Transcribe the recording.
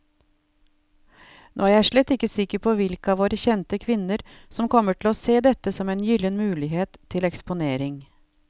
Nå er jeg slett ikke sikker på hvilke av våre kjente kvinner som kommer til å se dette som en gyllen mulighet til eksponering.